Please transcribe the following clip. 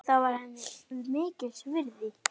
Það var henni mikils virði.